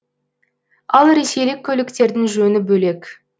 ал ресейлік көліктердің жөні бөлек